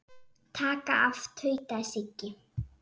Taka af. tautaði Siggi.